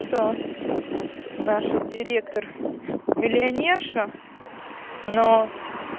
что наша директор миллионерша но